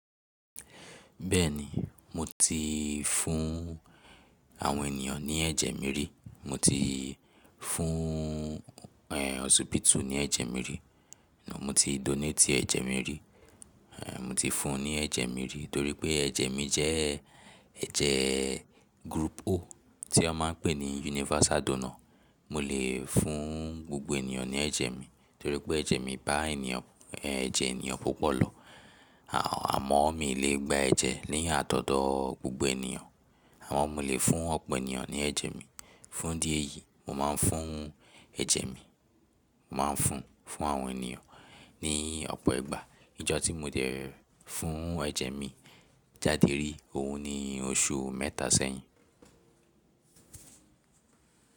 Bẹ́ẹ̀ni mo ti fún àwọn ènìyàn ní ẹ̀jẹ̀ mi rí, mo ti fún osibíìtì ní ẹ̀jẹ̀ mi rí, mo ti donate ẹ̀jẹ̀ mi rí, mo ti fún ní ẹ̀jẹ̀ mi rí torí pé ẹ̀jẹ̀ mi jẹ́ ẹ̀jẹ̀ group O, tí wọ́n ma ń pè ní universal donor. Mo lè fún gbogbo ènìyàn ní ẹ̀jẹ̀ mi torí pé ẹ̀jẹ̀ mi bá ènìyàn, ẹ̀jẹ̀ ènìyàn púpọ̀ lọ àmọ́ mi n lè gba ẹ̀jẹ̀ ni a todo gbogbo ènìyàn àmọ́ mo lè fún ọ̀pọ̀ ènìyàn ní ẹ̀jẹ̀ mi. Fún idi eyì, mo ma ń fún ẹ̀jẹ̀ mi, mo ma ń fún, fún àwọn ènìyàn ní ọ̀pọ̀ ìgbà. Ìjọ̀ tí mo dẹ̀ fún ẹ̀jẹ̀ mi jáde rí òun ni oṣù mẹ́ta sẹ́yìn.